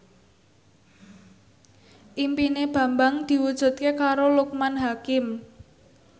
impine Bambang diwujudke karo Loekman Hakim